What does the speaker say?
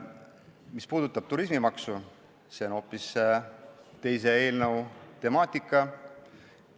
Mis puudutab turismimaksu, siis see on hoopis teise eelnõu temaatika.